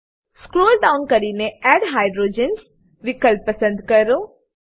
scroll down કરીને add hydrogens વિકલ્પ પસંદ ક્લિક કરો